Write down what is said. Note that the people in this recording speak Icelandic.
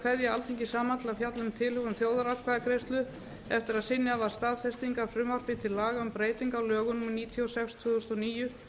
kveðja alþingi saman til að fjalla um tilhögun þjóðaratkvæðagreiðslu eftir að synjað varð staðfestingar frumvarpi til laga um breyting á lögum númer níutíu og sex tvö þúsund og níu